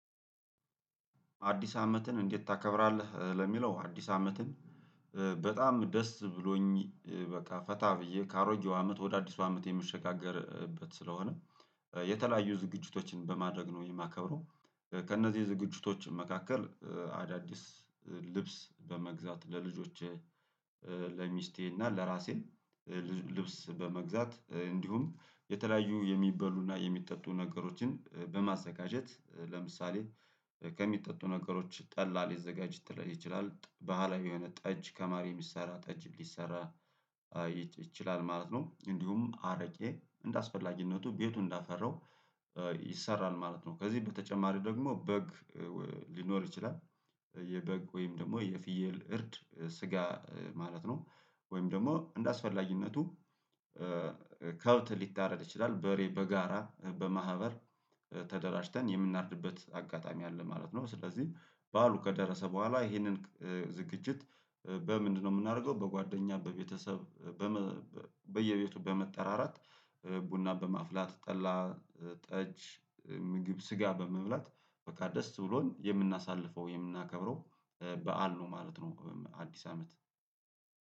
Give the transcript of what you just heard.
አዲስ አመትን እንዴት? ታከብራለህ ለሚለው አዲስ አመትን በጣም ደስ ብሎኝ በቃ ፈታ ብዬ ከአሮጌው አመት ወደ አዲሱ አመት የምሸጋገርበት ስለሆነ የተለያዩ ዝግጅቶችን በማድረግ ነው የማከብረው። ከእነዚህ ዝግጅቶች መካከል አዳዲስ ልብስ በመግዛት ለልጆቼ ለሚስቴ እና ለራሴም ልብስ በመግዛት እንዲሁም የተለያዩ የሚበሉና የሚጠጡ ነገሮችን በማዘጋጀት ለምሳሌ ከሚጠጡ ነገሮች ጠላ ሊዘጋጅ ይችላል ባህላዊ የሆነ ጠጅ ከማር የሚሰራ ጠጅ ሊሰራ ይችላል ማለት ነው። እንዲሁም አረቄ እንደአስፈላጊነቱ ቤቱ እንዳፈራው ይሰራል ማለት ነው። ከዚህ በተጨማሪ ደግሞ በግ ሊኖር ይችላል የበግ ወይም ደግሞ የፍየል እርድ ስጋ ማለት ነው። ወይም ደግሞ እንደአስፈላጊነቱ ከብት ሊታረድ ይችላል በሬ በጋራ በማህበር ተደራጅተን የምናርድበት አጋጣሚ አለ ማለት ነው። ስለዚህ ባዓሉ ከደረሰ በኋላ ይሄንን ዝግጅት በምንድነው የምናደርገው? በጓደኛ በቤተሰብ በየቤቱ በመጠራራት ቡና በማፍላት ጠላ ጠጅ ምግብ ስጋ በመብላት በቃ ደስ ብሎን የምናሳልፈው የምናከብረው በዓል ነው ማለት ነው። አዲስ አመት